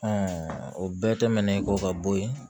o bɛɛ tɛmɛnen kɔ ka bɔ yen